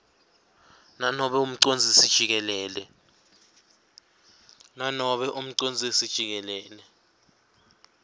nobe umcondzisi jikelele